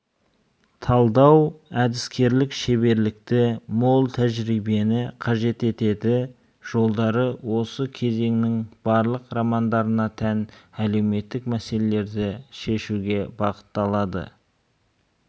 талдау әдіскерлік шеберлікті мол тәжірибені қажет етеді жолдары осы кезеңнің барлық романдарына тән әлеуметтік мәселелерді шешуге бағытталады